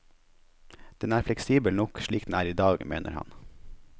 Den er fleksibel nok, slik den er i dag, mener han.